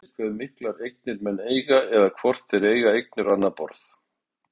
Engu breytir hve miklar eignir menn eiga eða hvort þeir eiga eignir á annað borð.